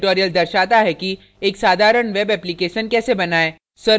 यह tutorial दर्शाता है कि एक साधारण web application कैसे बनाएँ